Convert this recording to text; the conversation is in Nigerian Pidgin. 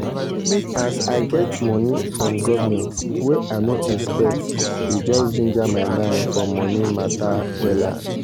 as i get money from government wey i no expect e just ginger my mind for money matt wella